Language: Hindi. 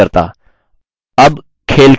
अब खेल खेलें